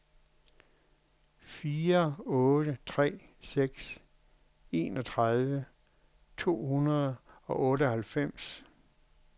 fire otte tre seks enogtredive to hundrede og otteoghalvfems